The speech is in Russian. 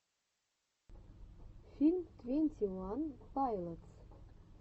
фильм твенти ван пайлотс